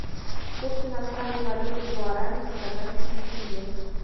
курс иностранной валюты гуарани к казахскому тенге